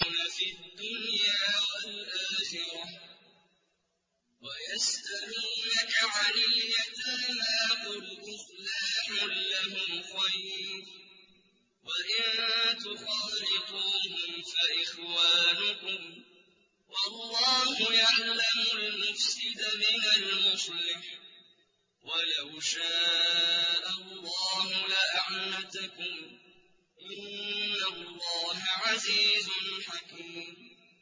فِي الدُّنْيَا وَالْآخِرَةِ ۗ وَيَسْأَلُونَكَ عَنِ الْيَتَامَىٰ ۖ قُلْ إِصْلَاحٌ لَّهُمْ خَيْرٌ ۖ وَإِن تُخَالِطُوهُمْ فَإِخْوَانُكُمْ ۚ وَاللَّهُ يَعْلَمُ الْمُفْسِدَ مِنَ الْمُصْلِحِ ۚ وَلَوْ شَاءَ اللَّهُ لَأَعْنَتَكُمْ ۚ إِنَّ اللَّهَ عَزِيزٌ حَكِيمٌ